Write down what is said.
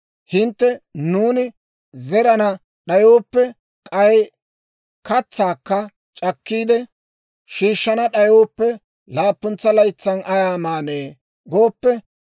Hintte, «Nuuni zerana d'ayooppe, k'ay katsaakka c'akkiide shiishshana d'ayooppe, laappuntsa laytsan ayaa maanee?» gooppe,